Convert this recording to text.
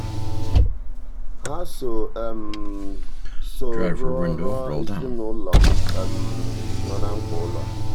ha so so rụọrọ ezinụụlọ um no na mkpa ụlọ.